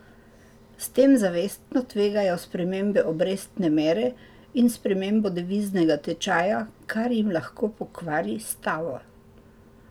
S tem zavestno tvegajo spremembe obrestne mere in spremembo deviznega tečaja, kar jim lahko pokvari stavo.